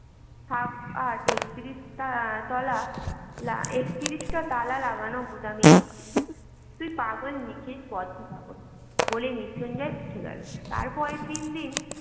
থাক আর একত্রিশ তলা একত্রিশটা তালা লাগানো গুদামেই তুই পাগল নিখিল বদ্ধ পাগল বলে মৃত্যুঞ্জয় উঠে গেল তারপরে দিন দিন